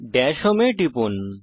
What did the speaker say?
Das home এ টিপুন